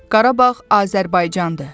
Qarabağ Azərbaycandır.